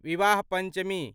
विवाह पंचमी